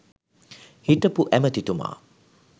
හිටපු ඇමැතිතුමා